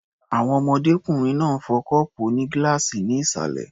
Àwọn ọmọdékùnrin náà ń fọ́ kọ́ọ̀pù onígíláàsì ní ìsàlẹ̀ m